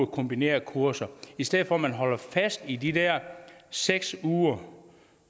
kombinerede kurser i stedet for at man holder fast i de der seks uger